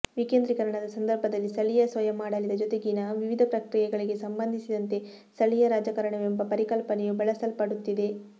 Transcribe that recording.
ವಿಕೇಂದ್ರೀಕರಣದ ಸಂದರ್ಭದಲ್ಲಿ ಸ್ಥಳೀಯ ಸ್ವಯಮಾಡಳಿತ ಜೊತೆಗಿನ ವಿವಿಧ ಪ್ರಕ್ರಿಯೆಗಳಿಗೆ ಸಂಬಂಧಿಸಿದಂತೆ ಸ್ಥಳೀಯ ರಾಜಕಾರಣವೆಂಬ ಪರಿಕಲ್ಪನೆಯು ಬಳಸಲ್ಪಡುತ್ತಿದೆ